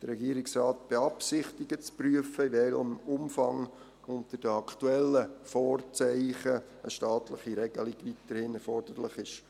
Der Regierungsrat beabsichtigt zu prüfen, in welchem Umfang unter den aktuellen Vorzeichen eine staatliche Regelung weiterhin erforderlich ist.